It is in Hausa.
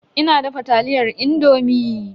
Ina dafa taliyar indomi.